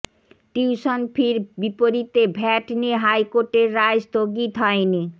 tuition ফির বিপরীতে VAT নিয়ে হাইকোর্টের রায় স্থগিত হয়নি